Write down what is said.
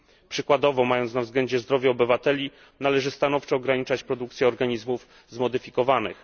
Przykładowo, mając na względzie zdrowie obywateli, należy stanowczo ograniczać produkcję organizmów genetycznie zmodyfikowanych.